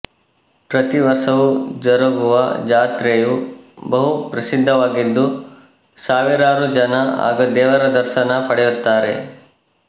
ಪ್ರತಿವರ್ಷವೂ ಜರುಗುವ ಜಾತ್ರೆಯು ಬಹುಪ್ರಸಿದ್ಧವಾಗಿದ್ದು ಸಾವಿರಾರು ಜನ ಆಗ ದೇವರ ದರ್ಶನ ಪಡೆಯುತ್ತಾರೆ